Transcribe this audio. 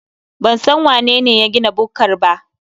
Ban san wanene ya gina bukkar ba.